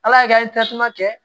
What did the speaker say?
Ala y'a kɛ an ye tasuma kɛ